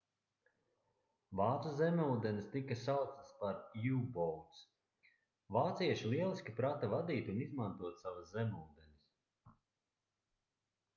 vācu zemūdenes tika sauktas par u-boats vācieši lieliski prata vadīt un izmantot savas zemūdenes